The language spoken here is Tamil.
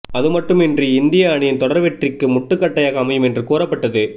அதுமட்டுமின்றி இந்திய அணியின் தொடர் வெற்றிக்கு முட்டுகட்டையாக அமையும் என்று கூறப்பட்டது